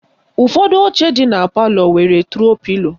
Ụfọdụ oche dị na palọ na-enwe tro pilo